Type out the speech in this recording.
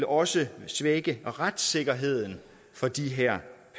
også vil svække retssikkerheden for de her